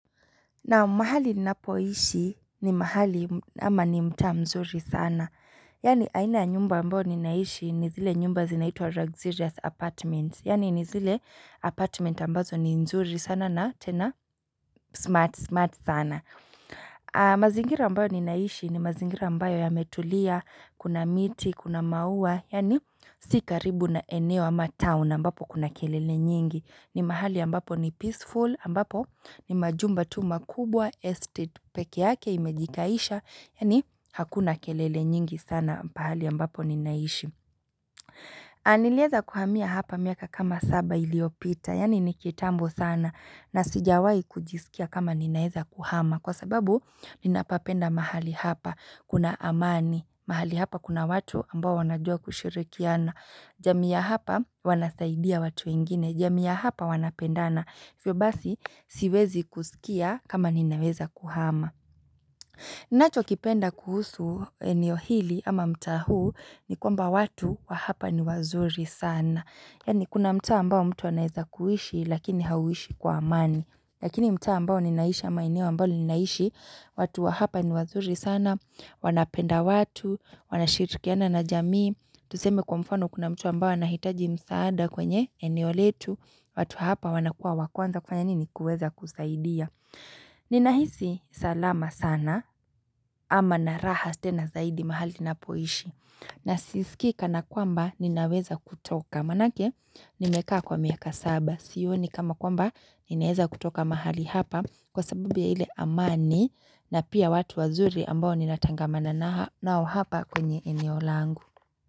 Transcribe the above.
Naam mahali ninapoishi ni mahali ama ni mtaa mzuri sana Yaani aina ya nyumba ambayo ni naishi ni zile nyumba zinaitwa luxurious apartment Yaani ni zile apartment ambazo ni nzuri sana na tena smart smart sana mazingira ambayo ni naishi ni mazingira ambayo yametulia kuna miti kuna maua Yaani si karibu na eneo ama town ambapo kuna kelele nyingi ni mahali ambapo ni peaceful ambapo ni majumba tu makubwa estate peke yake imejikaisha Yaani hakuna kelele nyingi sana pahali ambapo ninaishi niliweza kuhamia hapa miaka kama saba iliyopita Yaani nikitambo sana na sijawahi kujisikia kama ninaweza kuhama Kwa sababu ninapapenda mahali hapa kuna amani mahali hapa kuna watu ambao wanajua kushirikiana jamii ya hapa wanasaidia watu wengine jamii ya hapa wanapendana hivyo basi siwezi kusikia kama ninaweza kuhama nacho kipenda kuhusu eneo hili ama mta huu ni kwamba watu wa hapa ni wazuri sana Yaani kuna mtaa ambao mtu anaweza kuishi lakini hauishi kwa amani Lakini mtaa ambao ninaisha ama eneo ambalo ninaishi watu wa hapa ni wazuri sana wanapenda watu wanashirikiana na jamii Tuseme kwa mfano kuna mtu ambaye anahitaji msaada kwenye eneo letu watu hapa wanakua wakwanza kufanya nini kuweza kusaidia Ninahisi salama sana ama naraha tena zaidi mahali na poishi na sisikii kana kwamba ninaweza kutoka Manake nimekaa kwa miaka saba Sioni kama kwamba ninaweza kutoka mahali hapa Kwa sababu ya ile amani na pia watu wazuri ambao ninatangamana nao hapa kwenye eneo langu.